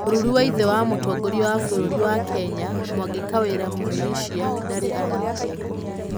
Mũrũrũ wa ithe wa mũtongoria wa bũrũri wa Kenya, Mwangi Kawira Mwirishia, ndarĩ anyitwo.